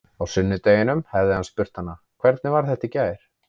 Á sunnudeginum hefði hann spurt hana: Hvernig var þetta í gær?